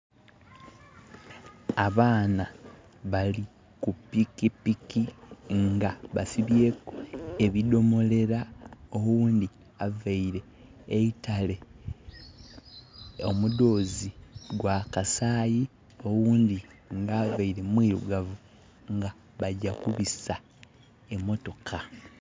Abaana bali ku pikipiki nga basibyeku ebidomolela. Owundi avaire eitale omudoozi gwa kasayi, owundi nga avaire mwirugavu bajja kubisa emotoka